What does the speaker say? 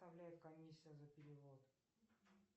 составляет комиссия за перевод